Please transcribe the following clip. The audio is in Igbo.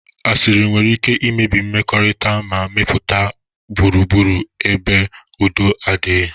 Asịrị nwere ike imebi mmekọrịta ma mepụta gburugburu ebe udo na-adighi.